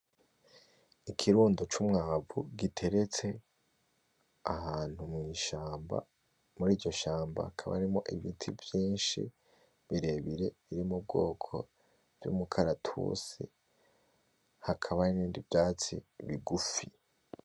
Ikirundo c'umwavu giteretse ahantu mw'ishamba muri iryo shamba hakaba harimwo ibiti vyinshi birebire biri mubwoko vy'umukaratusi hakaba nibindi vyatsi bigufi .